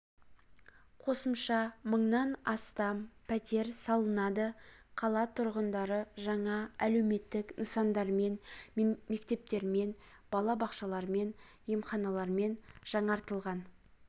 қосымша мыңнан астам пәтер салынады қала тұрғындары жаңа әлеуметтік нысандармен мектептермен бала бақшалармен емханалармен жаңартылған